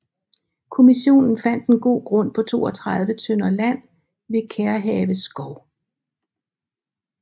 Kommissionen fandt en god grund på 32 tønder land ved Kærehave Skov